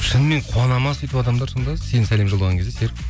шынымен қуанады ма сөйтіп адамдар сонда сен сәлем жолдаған кезде серік